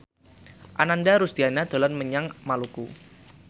Ananda Rusdiana dolan menyang Maluku